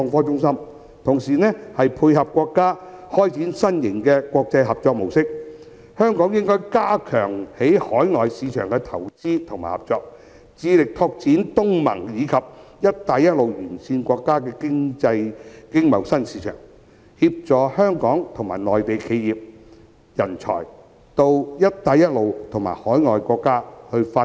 與此同時，為配合國家開展新型國際合作模式，香港應加強在海外市場的投資與合作，致力拓展東盟及"一帶一路"沿線國家的經貿新市場，協助香港和內地企業、人才到"一帶一路"及海外國家發展。